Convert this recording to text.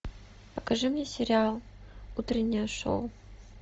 покажи мне сериал утреннее шоу